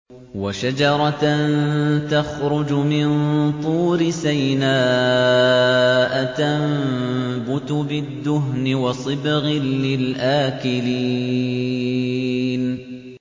وَشَجَرَةً تَخْرُجُ مِن طُورِ سَيْنَاءَ تَنبُتُ بِالدُّهْنِ وَصِبْغٍ لِّلْآكِلِينَ